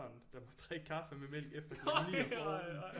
Der måtte drikke kaffe med mælk efter klokken 9 om morgenen